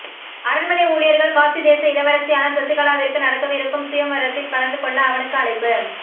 அரண்மனை ஊழியர்கள் காசி தேச இளவரசியான சசிகலாவிற்கு நடக்கவிருக்கும் சுயம்வரத்தில் கலந்து கொள்ள அவனுக்கு அழைப்பு